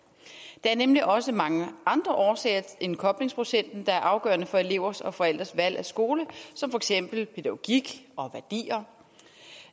der er nemlig også mange andre årsager end koblingsprocenten der er afgørende for elevers og forældres valg af skole som for eksempel pædagogik og værdier